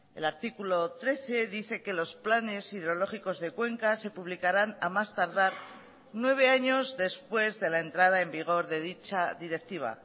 el artículo trece dice que los planes hidrológicos de cuencas se publicarán a más tardar nueve años después de la entrada en vigor de dicha directiva